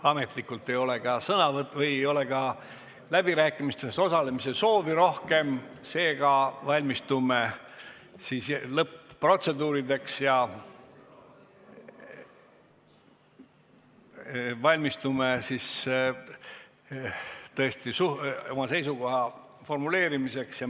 Ametlikult ei ole ka läbirääkimistes osalemise soovi rohkem, seega valmistume lõpp-protseduurideks ja oma seisukoha formuleerimiseks.